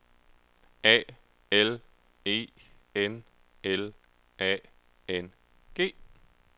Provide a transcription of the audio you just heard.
A L E N L A N G